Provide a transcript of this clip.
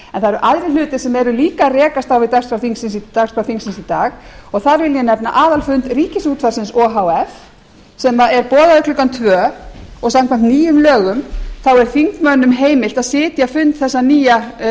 það eru aðrir hlutir sem eru líka að rekast á við dagskrá þingsins í dag og þar vil ég nefna aðalfund ríkisútvarpsins o h f sem er boðaður klukkan tvö og samkvæmt nýjum lögum er þingmönnum heimilt að sitja fund